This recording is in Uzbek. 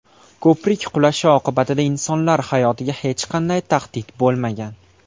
Ko‘prik qulashi oqibatida insonlar hayotiga hech qanday tahdid bo‘lmagan.